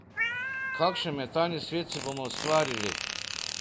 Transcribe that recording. Kakšen mentalni svet si bomo ustvarili?